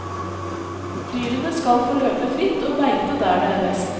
Dyrene skal få løpe fritt og beite der det er best.